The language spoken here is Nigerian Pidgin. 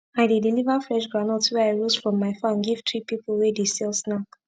i dey deliver fresh groundnut wey i roast from my farm give three pipu wey dey sell snack